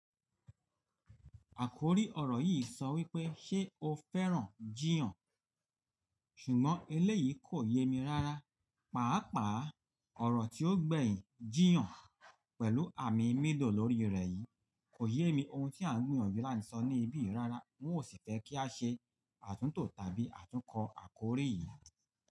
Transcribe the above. Àkòrí ọ̀rọ̀ yìí sọ wípé “ṣé o fẹ́ràn jiiyan?” ṣùgbọ́n eléyìí kò yé mi rára, pàápàá ọ̀rọ̀ tí ó gbẹ̀yin “jiiyan” pẹ̀lú àmì mídò lórí rẹ̀ yìí kò yé mi ohun tí à ń gbìyànjú lánṣọ́ níbí yìí rárá. N ó sì fẹ́ kí a ṣe àtúntò tàbí àtúnkọ̀ àkòrí yìí.